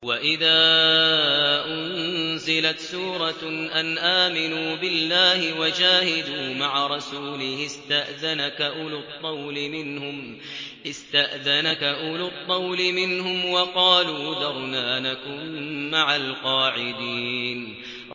وَإِذَا أُنزِلَتْ سُورَةٌ أَنْ آمِنُوا بِاللَّهِ وَجَاهِدُوا مَعَ رَسُولِهِ اسْتَأْذَنَكَ أُولُو الطَّوْلِ مِنْهُمْ وَقَالُوا ذَرْنَا نَكُن مَّعَ الْقَاعِدِينَ